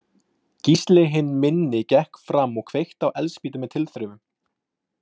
Gísli hinn minni gekk fram og kveikti á eldspýtu með tilþrifum.